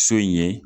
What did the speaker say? So in ye